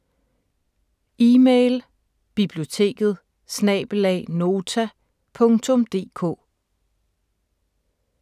Email: biblioteket@nota.dk